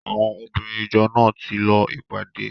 Àwọn obìnrin ìjọ náà ti lọ ìpàdé.